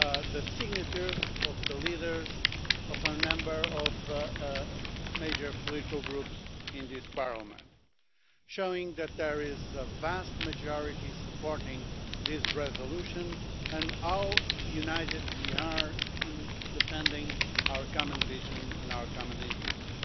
the signatures of the leaders of a number of major political groups in this Parliament, showing that there is a vast majority supporting this resolution and how united we are in defending our common vision and our common interests.